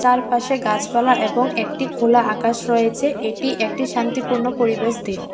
তার পাশে গাছপালা এবং একটি খোলা আকাশ রয়েছে এটি একটি শান্তিপূর্ণ পরিবেশ দেহ।